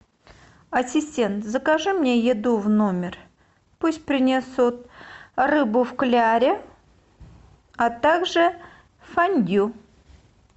ассистент закажи мне еду в номер пусть принесут рыбу в кляре а также фондю